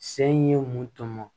Se in ye mun tɔmɔ